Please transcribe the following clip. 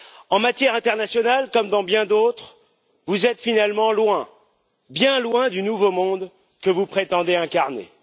En matière internationale comme dans bien d'autres, vous êtes finalement loin, bien loin, du nouveau monde que vous prétendez incarner.